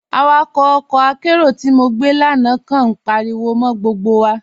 Awàkọ̀ ọkọ́ àkéró tí mo gbẹ́ lánà kàn ní páríwọ̀ mọ́ gbógbo wà.